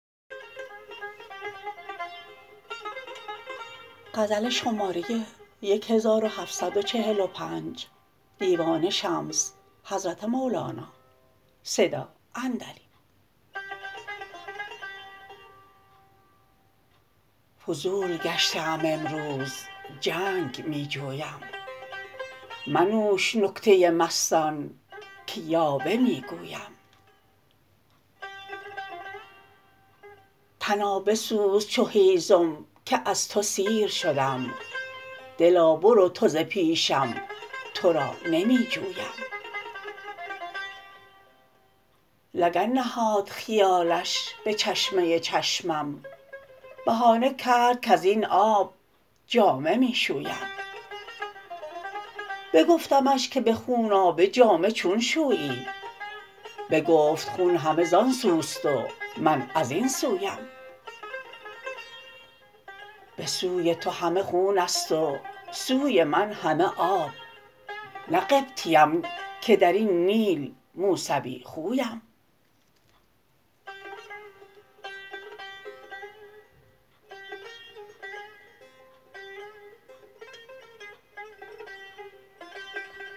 فضول گشته ام امروز جنگ می جویم منوش نکته مستان که یاوه می گویم تنا بسوز چو هیزم که از تو سیر شدم دلا برو تو ز پیشم تو را نمی جویم لگن نهاد خیالش به چشمه چشمم بهانه کرد کز این آب جامه می شویم بگفتمش که به خونابه جامه چون شویی بگفت خون همه زان سوست و من از این سویم به سوی تو همه خون است و سوی من همه آب نه قبطیم که در این نیل موسوی خویم